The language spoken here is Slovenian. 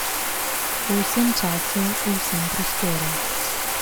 V vsem času, v vsem prostoru.